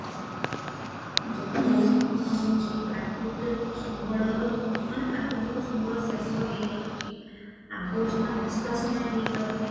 ଜନ ହଉଚି ପ୍ରାକୃତିକ ସମ୍ବଳର ମାନେ ପ୍ରାକୃତିକ ସମ୍ବଳ ଶେଷ ହେଇଯାଉଚି ଆବର୍ଜନା ନିଷ୍କାଶନ ହେଇପାରୁନି